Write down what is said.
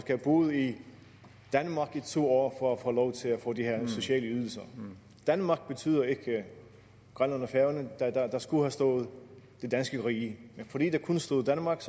have boet i danmark i to år for at få lov til at få de her sociale ydelser danmark betyder ikke grønland og færøerne der skulle have stået det danske rige men fordi der kun stod danmark